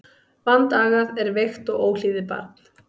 Vandagað er veikt og óhlýðið barn.